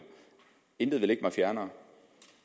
intet vil ligge mig fjernere